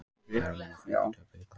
Hermann og félagar töpuðu illa